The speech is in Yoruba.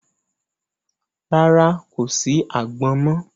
Rárá, kò sí àgbọn mọ.